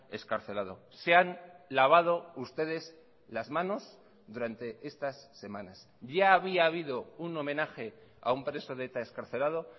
excarcelados se han lavado ustedes las manos durante estas semanas ya había habido un homenaje a un preso de eta excarcelado